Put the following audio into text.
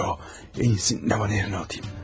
Yox, ən yaxşısı nəhərinə atım.